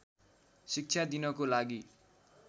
शिक्षा दिनको लागि